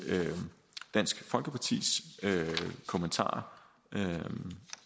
dansk folkepartis kommentarer